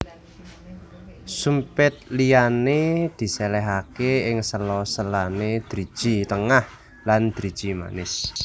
Sumpit liyane diselehake ing sela selane driji tengah lan driji manis